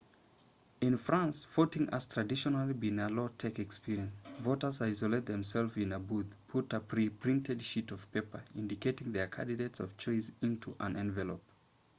in france voting has traditionally been a low-tech experience voters isolate themselves in a booth put a pre-printed sheet of paper indicating their candidate of choice into an envelope